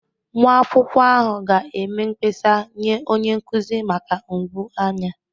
Nwa akwụkwọ ahụ ga-eme mkpesa nye onye nkuzi maka mgbu anya